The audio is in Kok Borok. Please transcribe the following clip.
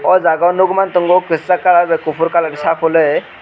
o jaga nukman tongo kwchak colour bai kuphur colour sapului.